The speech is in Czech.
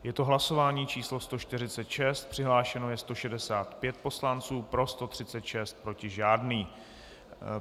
Je to hlasování číslo 146, přihlášeno je 165 poslanců, pro 136, proti žádný.